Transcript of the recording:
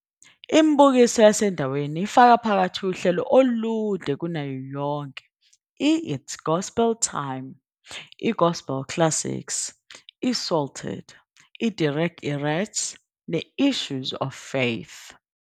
Imibukiso yasendaweni ifaka phakathi uhlelo olude kunayo yonke i-It's Gospel Time, i-Gospel Classics, i-Psalted, i-Derech Erets, ne-Issues of Faith.